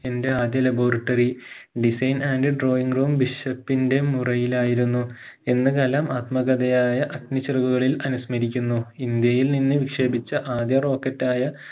എന്റെ ആദ്യ laboratorydesign and drawing room bishop ഇന്റെ മുറിയിലായിരുന്നു എന്ന് കലാം ആത്മകഥയായ അഗ്നിചിറകുകളിൽ അനുസ്മരിക്കുന്നു ഇന്ത്യയിൽ നിന്ന് വിക്ഷേപിച്ച ആദ്യ rocket ആയ